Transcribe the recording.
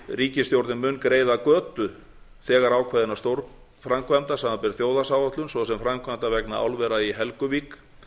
ríkisstjórnin mun greiða götu þegar ákveðinna stórframkvæmda samanber þjóðhagsáætlun svo sem framkvæmda vegna álvera í helguvík